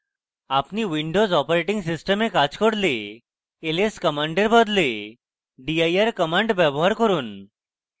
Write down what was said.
আপনি windows operating system কাজ করলে ls command এর বদলে dir command ব্যবহার করুন